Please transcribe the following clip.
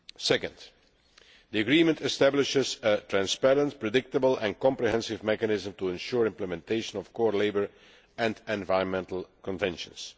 Secondly, the agreement establishes a transparent, predictable and comprehensive mechanism to ensure implementation of core labour and environmental conventions.